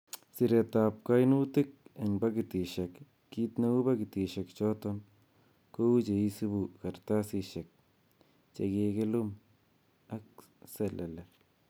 Siretab koinutik en pakitisiek, kit neu pakitishek choton, kou che isibu kartasisiek che kikilum ak selele.